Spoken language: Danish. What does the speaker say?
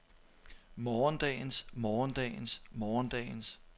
morgendagens morgendagens morgendagens